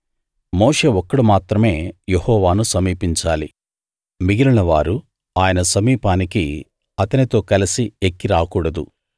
మోషే ఒక్కడు మాత్రమే యెహోవాను సమీపించాలి మిగిలినవారు ఆయన సమీపానికి అతనితో కలసి ఎక్కి రాకూడదు